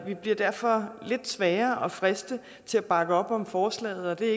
vi bliver derfor lidt sværere at friste til at bakke op om forslaget det er